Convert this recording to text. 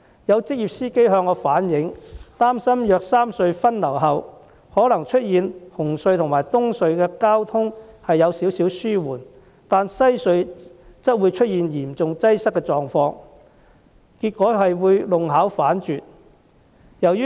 有職業司機向我反映，憂慮如果三隧分流後，可能出現紅磡海底隧道和東區海底隧道的交通稍微紓緩，但西區海底隧道嚴重擠塞的狀況，結果弄巧成拙。